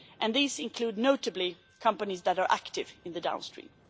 These include notably companies that are active in the downstream.